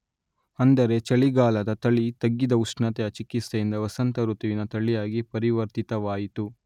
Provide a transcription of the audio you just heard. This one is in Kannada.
ಅಂದರೆ ಚಳಿಗಾಲದ ತಳಿ ತಗ್ಗಿದ ಉಷ್ಣತೆಯ ಚಿಕಿತ್ಸೆಯಿಂದ ವಸಂತ ಋತುವಿನ ತಳಿಯಾಗಿ ಪರಿವರ್ತಿತವಾಯಿತು